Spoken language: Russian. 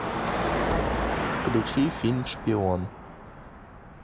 включи фильм шпион